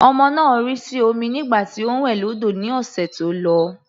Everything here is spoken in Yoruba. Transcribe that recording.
Ọmọ náà rì sí omi nígbà tí ó ń wẹ̀ lọ́dọ̀ ní ọ̀sẹ̀ tó lọ.